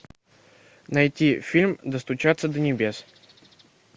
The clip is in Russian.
найти фильм достучаться до небес